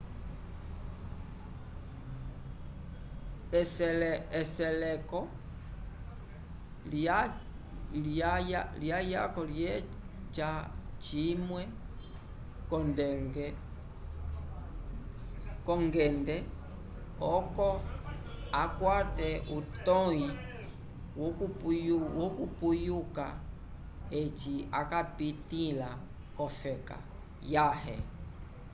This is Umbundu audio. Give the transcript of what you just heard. eseleko liyako lyeca cimwe k'ongende oco akwate utõyi wokupuyuka eci akapitĩla k'ofeka yãhe